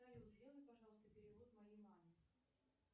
салют сделай пожалуйста перевод моей маме